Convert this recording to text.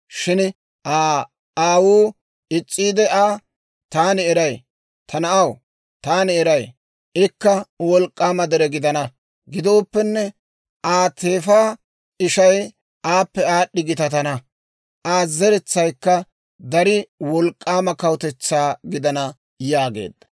Shin Aa aawuu is's'iide Aa, «Taani eray; ta na'aw, taani eray; ikka wolk'k'aama dere gidana. Gidooppenne Aa teefa ishay aappe aad'd'i gitatana; Aa zeretsaykka darii wolk'k'aama kawutetsaa gidana» yaageedda.